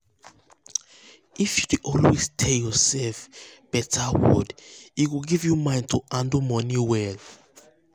if you dey always tell yourself better word e go give you mind to handle money well.